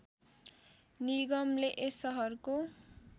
निगमले यस सहरको